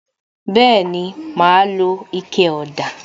Bẹẹni, ma lo ike ọ̀dà